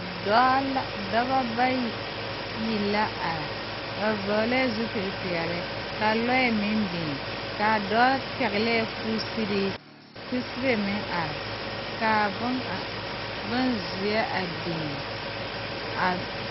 Dɔɔ la dɔbɔ bayi la are ba vɔglɛɛ zupile peɛle kaa lɔɛ meŋ biŋ kaa dɔɔ pɛglɛɛ kusiree kusibe meŋ are kaa bonkaŋ bonzeɛ a biŋ a.